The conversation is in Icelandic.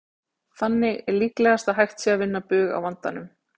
Þannig er líklegast að hægt sé að vinna bug á vandanum.